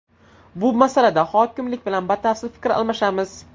Bu masalada hokimlik bilan batafsil fikr almashamiz.